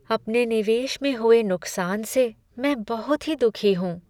अपने निवेश में हुए नुकसान से मैं बहुत ही दुखी हूँ।